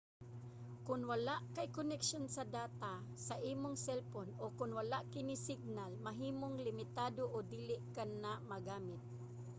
kon wala kay koneksyon sa data sa imong selpon o kon wala kini signal mahimong limitado o dili kana magamit